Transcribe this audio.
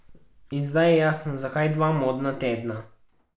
In zdaj je jasno, zakaj dva modna tedna.